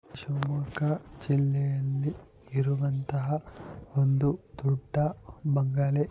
ಶಿವಮೊಗ್ಗ ಜಿಲ್ಲೆಯಲ್ಲಿ ಇರುವಂತಹ ಒಂದು ದೊಡ್ಡ ಬಂಗಲೆ.